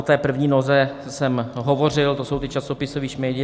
O té první noze jsem hovořil, to jsou ti časopisoví šmejdi.